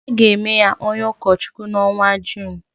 A ga-eme ya onye ụkọchukwu n’ọnwa Jun